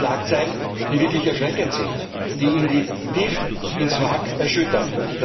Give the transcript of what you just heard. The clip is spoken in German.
Das sind Schlagzeilen, die wirklich erschreckend sind, die tief ins Mark erschüttern.